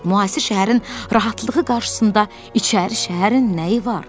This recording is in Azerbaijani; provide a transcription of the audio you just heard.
Müasir şəhərin rahatlığı qarşısında içəri şəhərin nəyi var?